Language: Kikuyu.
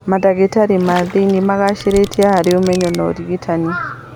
Mandagĩtarĩ ma thĩiniĩ magacĩrĩte harĩ ũmenyo na ũrigitani